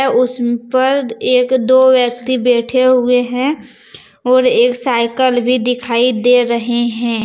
उस पर एक दो व्यक्ति बैठे हुए हैं और एक साइकल भी दिखाई दे रहे हैं।